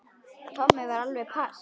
Tommi var alveg pass.